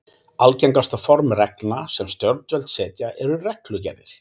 Algengasta form reglna sem stjórnvöld setja eru reglugerðir.